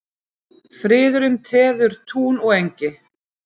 Friðurinn teður tún og engi.